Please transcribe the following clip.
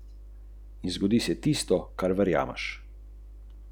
Drugi opazuje gozd, drevesa, njihove krošnje, liste, mah, razlaga sogovornik.